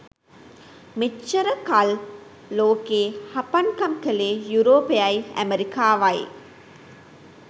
මෙච්චර කල් ලෝකේ හපන්කම් කළේ යුරෝපයයි ඇමෙරිකාවයි.